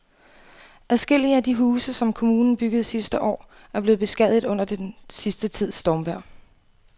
Adskillige af de huse, som kommunen byggede sidste år, er blevet beskadiget under den sidste tids stormvejr.